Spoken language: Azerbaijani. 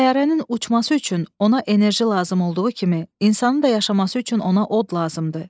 Təyyarənin uçması üçün ona enerji lazım olduğu kimi insanın da yaşaması üçün ona od lazımdır.